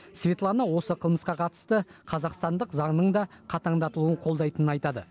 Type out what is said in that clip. светлана осы қылмысқа қатысты қазақстандық заңның да қатаңдатылуын қолдайтынын айтады